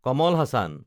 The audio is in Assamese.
কমল হাচান